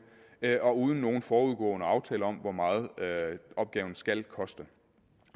og uden nogen forudgående aftale om hvor meget opgaven skal koste